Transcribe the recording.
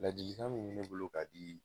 Ladilikan min mɛ ne bolo ka di